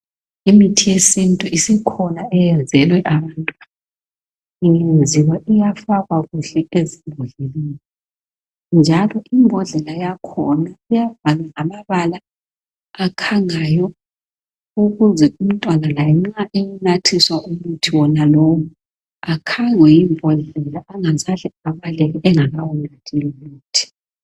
Imithi yesintu isikhona eyenzelwe abantwana ingenziwa iyafakwa kuhle ezimbodleleni njalo imbodlela yakhona iyabhalwa ngamabala akhangayo ukuze umntwana laye nxa ewunathiswa umuthi wonalowu akhangwe yimbodlela angakaze abaleke engakawunathi lumuthi.